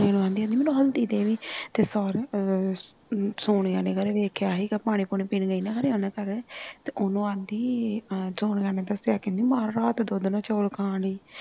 ਕੁੜੀ ਨੂੰ ਆਦੀ ਮੈਨੂੰ ਹਲਦੀ ਦੇਵੀ ਤੇ ਸਾਰੇ ਅਹ ਸੋਨੀਆਂ ਨੇ ਖਰੇ ਵੇਖਿਆ ਸੀ ਪਾਣੀ ਪੂਣੀ ਪੀਣ ਗਈ ਨਾ ਖਾਰੇ ਉਹਨਾਂ ਘਰ ਤੇ ਉਹਨੂੰ ਆਉਂਦੀ ਸੋਹਣੀਆਂ ਨੇ ਦਸਿਆ ਕਹਿੰਦੀ ਮਾਰ ਰਾਤ ਦੁਧ ਨਾਲ ਚੌਲ ਖਾਣ ਦਾ ਈ ਸੀ